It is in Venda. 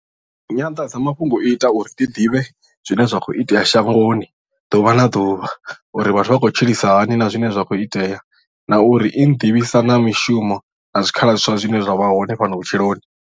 Nyanḓadzamafhungo i ita uri ndi ḓivhe zwine zwa kho itea shangoni ḓuvha na ḓuvha uri vhathu vha khou tshilisa hani na zwine zwa khou itea na uri i nḓivhisa na mishumo na zwikhala zwiswa zwine zwa vha hone fhano vhutshiloni.